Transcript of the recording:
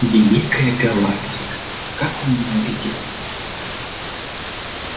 великая галактика как он ненавидит меня